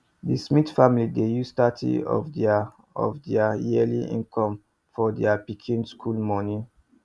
the smith family dey use thirty of their of their yearly income for their pikin school money